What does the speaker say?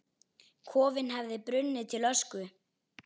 Kofinn hefði brunnið til ösku!